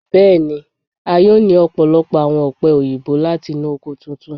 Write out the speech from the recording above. Bẹẹni, a yoo ni ọpọlọpọ awọn ope oyinbo lati inu oko tuntun